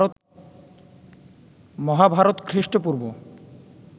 Mahabharata খ্রীষ্ট-পূর্ব